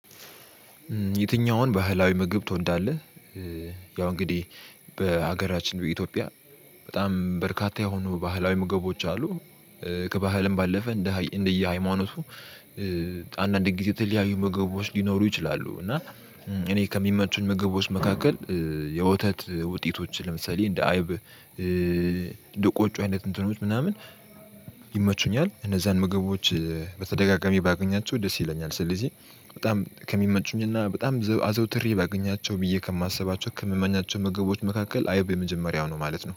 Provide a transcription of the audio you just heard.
የትኛውን ባህላዊ ምግብ ትወዳለህ? ያው እንግዲህ በሀገራችን በኢትዮጵያ በጣም በርካታ የሆኑ ባህላዊ ምግቦች አሉ ከባህልም ባለፈ እንደ እንደየ ሃይማኖቱ አንዳንድ ጊዜ የተለያዩ ምግቦች ሊኖሩ ይችላሉ እና እኔ ከሚመቹኝ ምግቦች መካከል የወተት ውጤቶችን ለምሳሌ እንደ አይብ እንደ ቖጮ አይነት እንትኖች ምናምን ይመቹኛል። እነዛን ምግቦች በተደጋጋሚ ባገኛቸው ደስ ይለኛል ስለዚህ በጣም ከሚመቹኝና በጣም አዘውትሬ ባገኛቸው ብዬ ከማስባቸው ከምመኛቸው መገቦች መካከል አይብ የመጀመሪያው ነው ማለት ነው